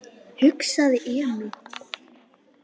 hugsaði Emil.